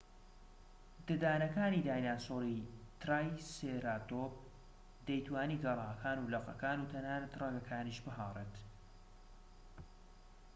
ددانەکانی دایناسۆری ترایسێراتۆپ دەیتوانی گەلاکان و لقەکان و تەنانەت ڕەگەکانیش بهاڕێت